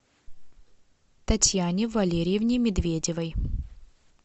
татьяне валериевне медведевой